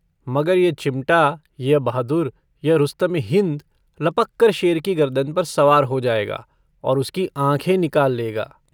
मगर यह चिमटा, यह बहादुर यह रुस्तमे-हिन्द लपककर शेर की गर्दन पर सवार हो जाएगा और उसकी आँखें निकाल लेगा।